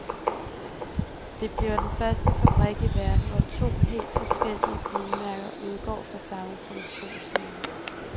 Det bliver den første fabrik i verden, hvor to helt forskellige bilmærker udgår fra samme produktionslinie.